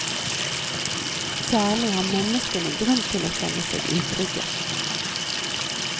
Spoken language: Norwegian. Særlig har menneskene grunn til å kjenne seg utrygge.